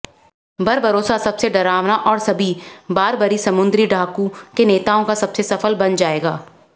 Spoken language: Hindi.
बरबरोसा सबसे डरावना और सभी बारबरी समुद्री डाकू के नेताओं का सबसे सफल बन जाएगा